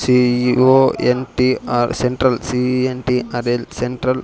C E O N T R central C E N T R L central --